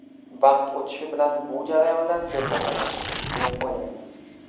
Vaqt o‘tishi bilan bu jarayonlar tezlashadi, deb o‘ylaymiz.